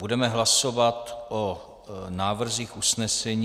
Budeme hlasovat o návrzích usnesení.